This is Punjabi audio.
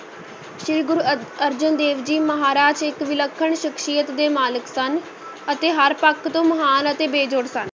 ਸ੍ਰੀ ਗੁਰੂ ਅ~ ਅਰਜਨ ਦੇਵ ਜੀ ਮਹਾਰਾਜ ਇੱਕ ਵਿਲੱਖਣ ਸ਼ਖਸੀਅਤ ਦੇ ਮਾਲਕ ਸਨ ਅਤੇ ਹਰ ਪੱਖ ਤੋਂ ਮਹਾਨ ਅਤੇ ਬੇਜੋੜ ਸਨ।